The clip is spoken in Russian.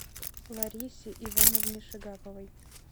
ларисе ивановне шигаповой